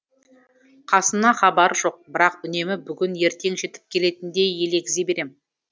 қасымнан хабар жоқ бірақ үнемі бүгін ертең жетіп келетіндей елегзи берем